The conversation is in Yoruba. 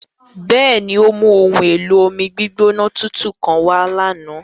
Bẹẹni, o mu ohun-elo-ọmi-gbigbọnà tuntun kan wà lána.